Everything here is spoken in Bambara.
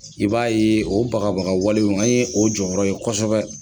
I b'a ye o bagabaga walew an ye o jɔrɔ kosɛbɛ.